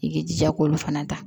I k'i jija k'olu fana ta